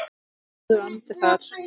Góður andi þar.